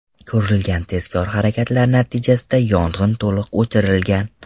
Ko‘rilgan tezkor harakatlar natijasida yong‘in to‘liq o‘chirilgan.